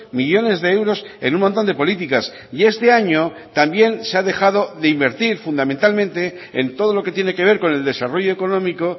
millónes de euros en un montón de políticas y este año también se ha dejado de invertir fundamentalmente en todo lo que tiene que ver con el desarrollo económico